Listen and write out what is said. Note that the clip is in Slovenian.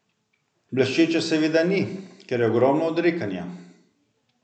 Bleščeče seveda ni, ker je ogromno odrekanja.